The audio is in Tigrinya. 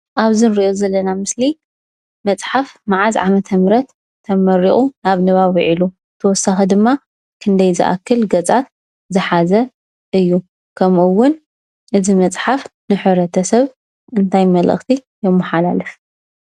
ኣብዚ እንሪኦ ዘለና ምስሊ መፅሓፍ መዓዝ ዓመተምህረት ተመሪቁ ናብ ንባብ ዊዒሉ? ብተወሳኪ ድማ ክንዳይ ዝኣክል ገፃት ዝሓዘ እዩ? ከምኡ እውን እቲ መፅሓፍ ንሕብረተሰብ እንታይ መልእክቲ የማሓላልፍ?